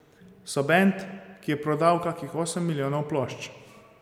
So bend, ki je prodal kakih osem milijonov plošč.